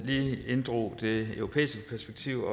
lige inddrog det europæiske perspektiv